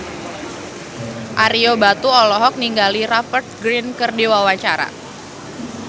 Ario Batu olohok ningali Rupert Grin keur diwawancara